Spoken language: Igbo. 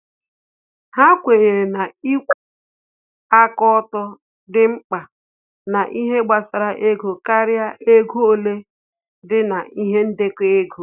Ha kwenyere na ikwuwa aka ọtọ dị mkpa na ihe gbasara ego karịa ego ole dị na-ihe ndekọ ego